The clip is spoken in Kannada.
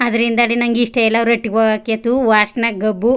ಅದ್ರಿಂದ ಅಡಿ ನಂಗೆ ಇಷ್ಟ ಇಲ್ಲ ಅವ್ರ ಹಟ್ಟಿಗೆ ಹೋಗಕ್ಕೆ ಥೂ ವಾಸ್ನೆ ಗಬ್ಬು.